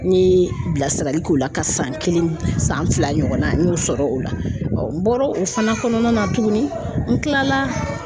N ye bilasirali k'o la ka san kelen san fila ɲɔgɔnna n y'o sɔrɔ o la n bɔr'o fana kɔnɔna na tuguni n kila la